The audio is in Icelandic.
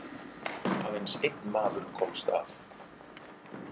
Aðeins einn maður komst af.